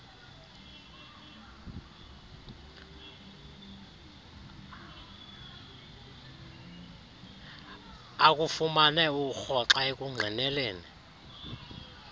akufumane urhoxa ekungqineleni